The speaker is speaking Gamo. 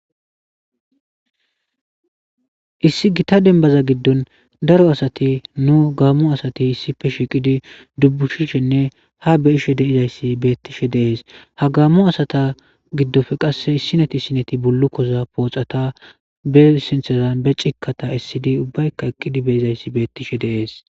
Issi gita denbaza giddon daro asati nu gaammo asati issife shiiqidi dubbuhishenne ha beyishe deizayssi beettishe deees ha gaammu asata giddofe qasse issineti sineti bullu koza pooxata be sinthazan be cikata issidi ubbayka eqqidi beizayssi beettishe deees.